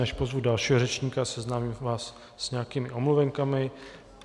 Než pozvu dalšího řečníka, seznámím vás s nějakými omluvenkami.